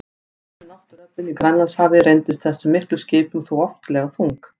Glíman við náttúruöflin í Grænlandshafi reyndist þessum miklu skipum þó oftlega þung.